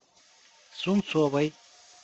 сунцовой